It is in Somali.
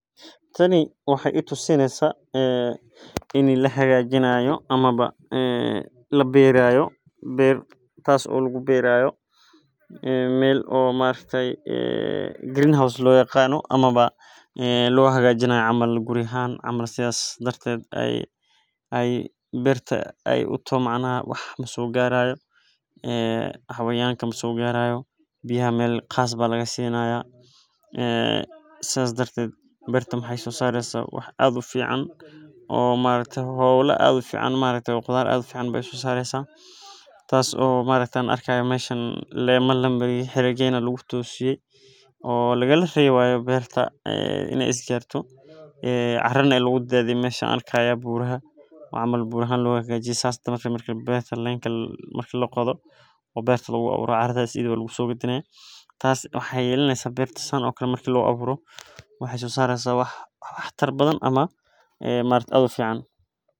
Tani waxeey ledahay faaidoyin badan oo somaliyeed ayaa laga helaa hilib mida kowaad waa daqtarka dadka sacideyni haayo midka labaad waa talaalka talalada joogtada ah waxeey ledahay faaidoyin badan oo somaliyeed aay tahay qudaar lakariyo waxaay tahay waziirka disida jidka ayaa hada noqote midna waay fican tahay waxeeyna muhiim ah in la isticmaalo waxeey kobcisa dalaga.